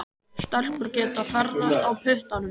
Stelpur geta ekki ferðast á puttanum.